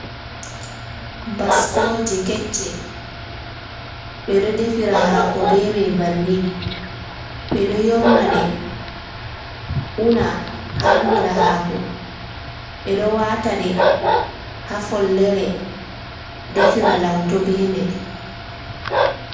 Baskoje kecce, ɓe ɗo defira hako be mai bannin, ɓeɗo yornaɗe una harnira haako, ɓe ɗo wataɗe ha follere defira lauto be mai.